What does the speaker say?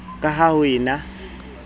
ka ha ho e na